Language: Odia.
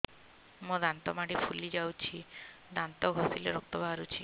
ମୋ ଦାନ୍ତ ମାଢି ଫୁଲି ଯାଉଛି ଦାନ୍ତ ଘଷିଲେ ରକ୍ତ ବାହାରୁଛି